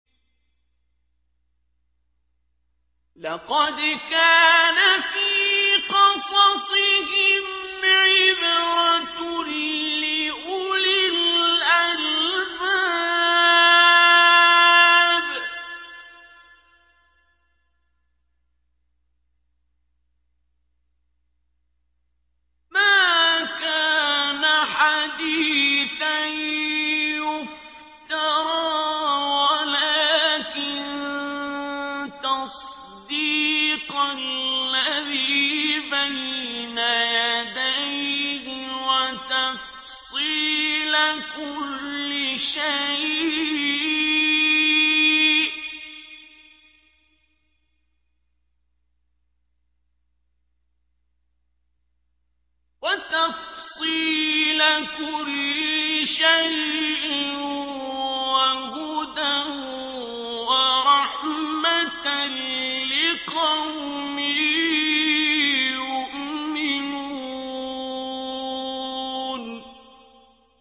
لَقَدْ كَانَ فِي قَصَصِهِمْ عِبْرَةٌ لِّأُولِي الْأَلْبَابِ ۗ مَا كَانَ حَدِيثًا يُفْتَرَىٰ وَلَٰكِن تَصْدِيقَ الَّذِي بَيْنَ يَدَيْهِ وَتَفْصِيلَ كُلِّ شَيْءٍ وَهُدًى وَرَحْمَةً لِّقَوْمٍ يُؤْمِنُونَ